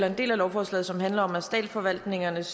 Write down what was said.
en del af lovforslaget som handler om statsforvaltningens